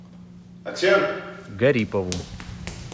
гарипову